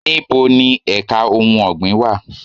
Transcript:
Níboni èka ohun ọ̀gbìn wà?